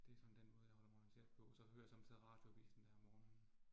Det sådan den måde, jeg holder mig orienteret på, så hører jeg somme tider Radioavisen, dér om morgenen